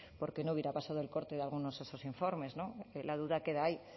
porque no hubiera pasado el corte de algunos de esos informes la duda queda ahí